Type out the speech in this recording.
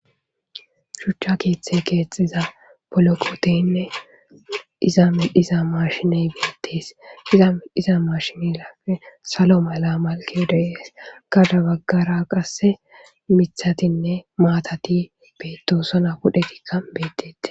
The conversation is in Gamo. Shuchcha keeththe keexxiza poloqoteynne iza medhiza mashiney beettes iza medhiza mashinelafe salo mala malke dey'es gada baggara qasse mithatinne maatati beetosona pudhetikka beedete.